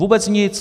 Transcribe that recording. Vůbec nic.